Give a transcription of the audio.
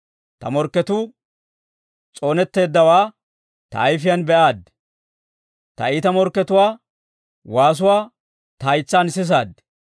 Ta morkketuu s'oonetteeddawaa ta ayifiyaan be'aad; ta iita morketuwaa waasuwaa ta haytsaan sisaad.